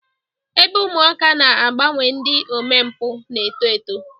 Ebe ụmụaka na-agbanwe ndị omempụ na-eto eto.